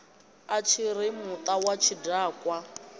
a tshiri muta wa tshidakwa